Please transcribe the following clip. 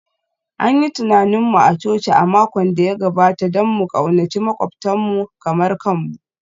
An yi tunanin mu a coci a makon da ya gabata don mu ƙaunaci maƙwabtanmu kamar kanmu